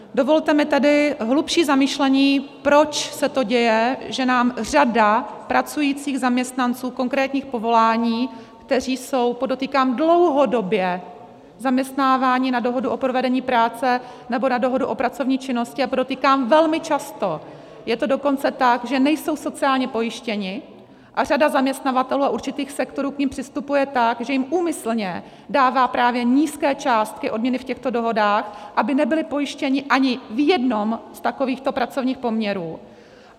Dovolte mi tedy hlubší zamyšlení, proč se to děje, že nám řada pracujících zaměstnanců konkrétních povolání, kteří jsou, podotýkám, dlouhodobě zaměstnáváni na dohodu o provedení práce nebo na dohodu o pracovní činnosti, a podotýkám velmi často je to dokonce tak, že nejsou sociálně pojištěni, a řada zaměstnavatelů a určitých sektorů k nim přistupuje tak, že jim úmyslně dává právě nízké částky odměny v těchto dohodách, aby nebyli pojištěni ani v jednom z takovýchto pracovních poměrů.